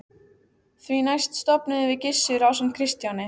Því næst stofnuðum við Gissur ásamt Kristjáni